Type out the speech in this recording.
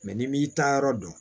n'i m'i ta yɔrɔ dɔn